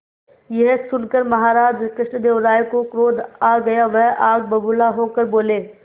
यह सुनकर महाराज कृष्णदेव राय को क्रोध आ गया वह आग बबूला होकर बोले